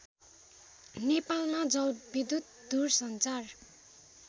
नेपालमा जलविद्युत दुरसञ्चार